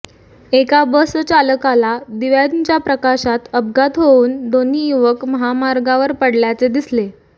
एका बसचालकाला दिव्यांच्या प्रकाशात अपघात होऊन दोन्ही युवक महामार्गावर पडल्याचे दिसले